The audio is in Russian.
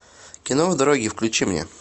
кино в дороге включи мне